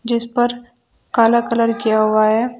जिस पर काला कलर किया हुआ है।